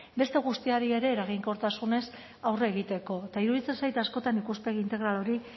beste guztiari ere eraginkortasunez aurre egiteko eta iruditzen zait askotan ikuspegi integral hori